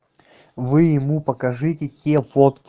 вы ему покажите те фот